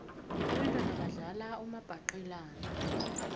abentwana badlala umabhaqelana